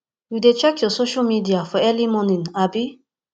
you dey check your social media for early morning abi